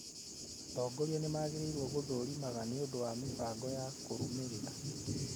Atongoria nĩ magĩrĩirũo gũthũrimaga nĩũndũ wa mĩhang'o ya kũrũmĩrĩra